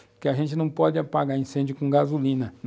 Porque a gente não pode apagar incêndio com gasolina.